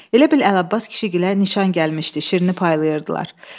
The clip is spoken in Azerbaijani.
Elə bil Əlabbas kişigilə nişan gəlmişdi, şirni paylayırdılar.